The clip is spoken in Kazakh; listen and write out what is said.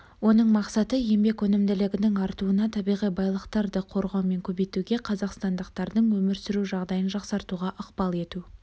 оның мақсаты еңбек өнімділігінің артуына табиғи байлықтарды қорғау мен көбейтуге қазақстандықтардың өмір сүру жағдайын жақсартуға ықпал ету